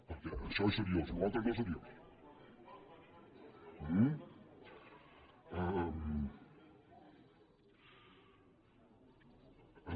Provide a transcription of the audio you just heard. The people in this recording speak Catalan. perquè això és seriós allò altre no és seriós